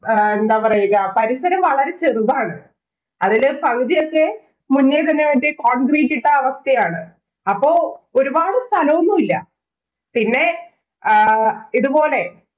ആഹ് എന്താ പറയ്ക. പരിസരം വളരെ ചെറുതാണ്. അതില് പകുതിയൊക്കെ മുന്നില്‍ തന്നെ concrete ഇട്ട അവസ്ഥയാണ്. അപ്പൊ ഒരുപാട് സ്ഥലോന്നുമില്ല. പിന്നെ ആഹ് ഇതുപോലെ